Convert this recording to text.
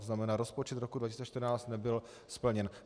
To znamená, rozpočet roku 2014 nebyl splněn.